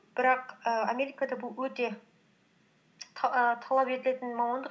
бірақ і америкада бұл өте ііі талап етілетін мамандық